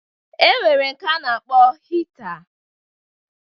E nwere nke a na-akpọ hita